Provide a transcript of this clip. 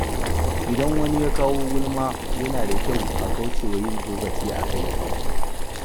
Idan wani ya kawo gulma, yana da kyau a kaucewa yin tsokaci a kai.